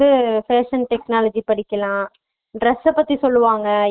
படிக்கலாம் dress அ